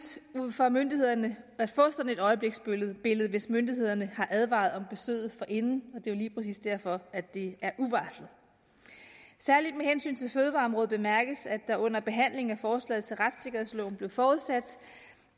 for myndighederne at få sådan et øjebliksbillede hvis myndighederne har advaret om besøget forinden er jo lige præcis derfor at det er uvarslet særlig med hensyn til fødevareområdet bemærkes at der under behandlingen af forslaget til retssikkerhedsloven blev forudsat